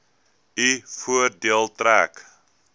u voordeel trek